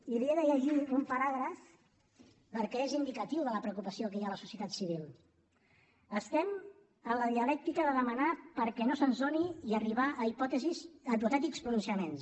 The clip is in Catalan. i n’hi he de llegir un paràgraf perquè és indicatiu de la preocupació que hi ha a la societat civil estem en la dialèctica de demanar perquè no se’ns doni i arribar a hipotètics pronunciaments